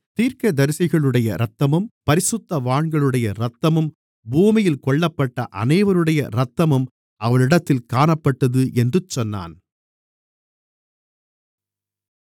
தீர்க்கதரிசிகளுடைய இரத்தமும் பரிசுத்தவான்களுடைய இரத்தமும் பூமியில் கொல்லப்பட்ட அனைவருடைய இரத்தமும் அவளிடத்தில் காணப்பட்டது என்று சொன்னான்